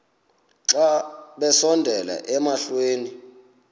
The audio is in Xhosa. xa besondela emasuie